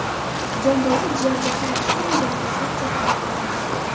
Jomboyda jiyan jahl ustida o‘z amakisini pichoqlab qo‘ydi.